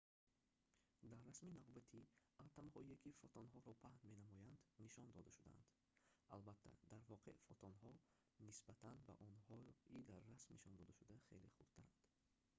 дар расми навбатӣ атомҳое ки фотонҳоро паҳн менамоянд нишон дода шудаанд албатта дар воқеъ фотонҳо нисбат ба онҳои дар расм нишондодашуда хеле хурдтаранд